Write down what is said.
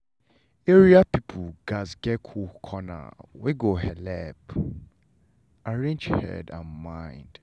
area people gatz get cool corner wey go helep arrange head and mind.